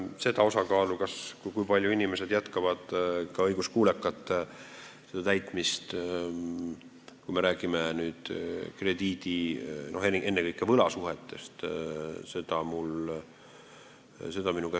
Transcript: Seda osakaalu, kui paljud inimesed jätkavad ka pärast tähtaega õiguskuulekalt nõuete täitmist – ma pean silmas ennekõike võlasuhteid –, ma hetkel suhtarvuna nimetada ei oska.